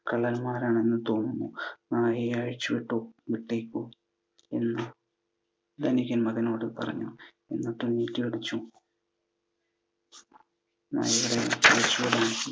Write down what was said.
കള്ളന്മാരാണെന്നു തോന്നുന്നു. നായയെ അഴിച്ചു വിട്ടോ വിട്ടേക്കു എന്ന് ധനികൻ മകനോട് പറഞ്ഞു. എന്നിട്ടു നീട്ടി അടിച്ചു